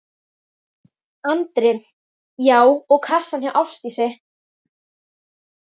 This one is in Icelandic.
Andri: Já og á kassann hjá Ásdísi?